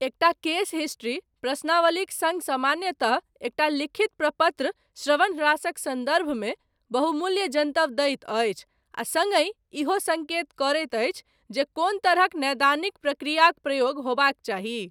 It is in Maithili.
एकटा केस हिस्ट्री, प्रश्नावलीक सङ्ग सामान्यतः एकटा लिखित प्रपत्र श्रवण ह्रासक सन्दर्भमे, बहुमूल्य जनतब दैत अछि, आ सङ्गहि, ईहो सङ्केत करैत अछि, जे कोन तरहक नैदानिक प्रक्रियाक, प्रयोग होयबाक चाही।